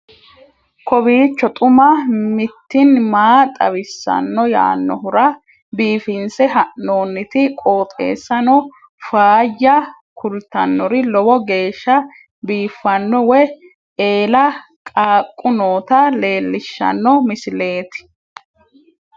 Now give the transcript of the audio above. kowiicho xuma mtini maa xawissanno yaannohura biifinse haa'noonniti qooxeessano faayya kultannori lowo geeshsha biiffanno wayi eela qaaqu noota leellishshanno misileeti